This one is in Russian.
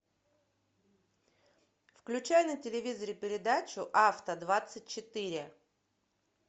включай на телевизоре передачу авто двадцать четыре